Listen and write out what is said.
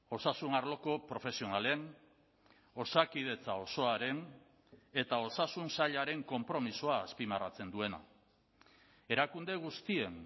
osasun arloko profesionalen osakidetza osoaren eta osasun sailaren konpromisoa azpimarratzen duena erakunde guztien